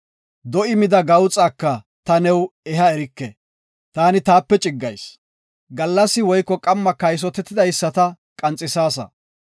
Do7i mida gawuxaka ta new eha erike; taani taape ciggayis. Gallas woyko qamma kaysotetidaysata qanxisaasa.